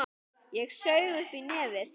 Ég saug upp í nefið.